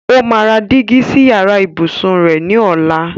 Ó máa ra dígí sí yàrá ìbùsùn rẹ ní ọ̀la.